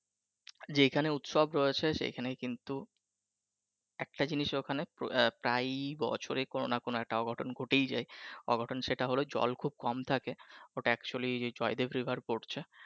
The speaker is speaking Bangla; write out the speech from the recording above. যেখানে উৎসব রয়েছে সেখানে কিন্তু একটা জিনিস ওইখানে প্রায় বছরে কোন না কোন একটা অঘটন ঘটেই যায়, অঘটন সেটা হলো জল খুব কম থাকে ওইটা actually জয়দেব river পড়ছে